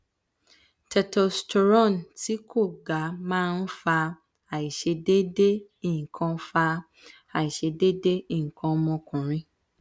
testosterone ti ko gaa ma n fa aisedeede ikan fa aisedeede ikan omokunrin